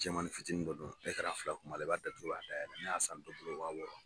Jɛmani fitinin dɔ don fila kun b' a la, i b'a datugu ka dayɛlɛ ne y'a san fɔlɔ min waa wɔɔrɔ.